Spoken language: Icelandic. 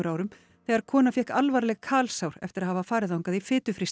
árum þegar kona fékk alvarleg eftir að hafa farið þangað í